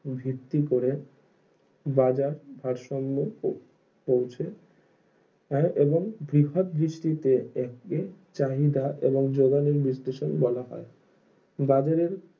বৃত্তি করে বাজার ভারসম্য ও পৌঁছে নেই এবং বৃহৎ দৃষ্টিতে চাহিদা এবং যোগানের বিশ্লেষক বলা হয় বাজারের